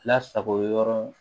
Lasago yɔrɔ